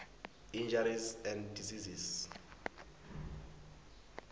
injuries and diseases